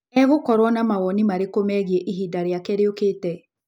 Egũkorũo na mawoni marĩkũ megiĩ ihinda rĩake rĩũkĩte?